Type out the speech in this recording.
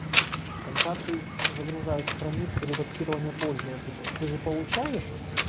когда ты загружаешь страницу редактирования пользователя ты же получаешь